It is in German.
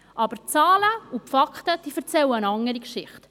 Die Zahlen und Fakten erzählen jedoch eine andere Geschichte.